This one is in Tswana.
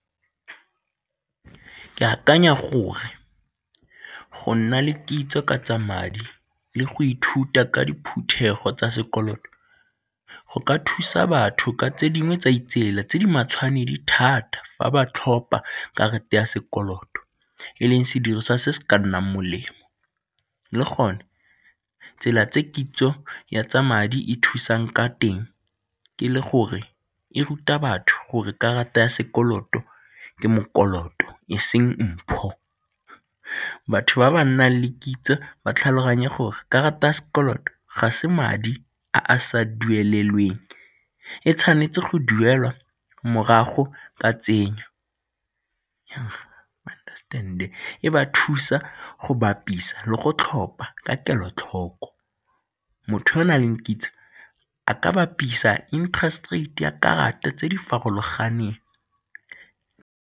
Ke akanya gore go nna le kitso ka tsa madi le go ithuta ka diphuthego tsa sekoloto go ka thusa batho ka tse dingwe tsa itseela tse di matshwanedi thata fa ba tlhopha karata ya sekoloto e leng sediriswa se se ka nnang molemo. Le gone tsela tse ke itseng ya tsa madi e thusang ka teng ke le gore e ruta batho gore karata ya sekoloto ke mokoloto e seng mpho. Batho ba ba nang le kitso ba tlhaloganye gore karata ya sekoloto ga se madi a a sa duelelweng, e tshwanetse go duelwa morago ka tsenyo e ba thusa go bapisa le go tlhopa ka kelotlhoko. Motho yo o na leng kitso a ka bapisa interest rate ya karata tse di farologaneng.